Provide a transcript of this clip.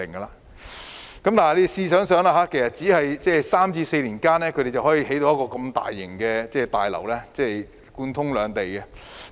大家試想想，才3至4年，他們便可興建如此大型、貫通兩地的大樓。